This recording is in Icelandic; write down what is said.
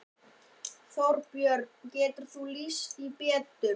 Þorbjörn: Geturðu lýst því betur?